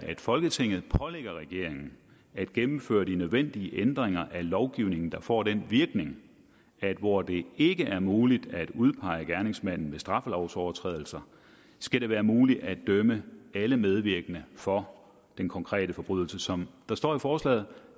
folketinget pålægger regeringen at gennemføre de nødvendige ændringer af lovgivningen der får den virkning at hvor det ikke er muligt at udpege gerningsmanden ved straffelovsovertrædelser skal det være muligt at dømme alle medvirkende for den konkrete forbrydelse som der står i forslaget